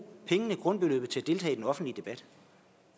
pengene grundbeløbet til at deltage i den offentlige debat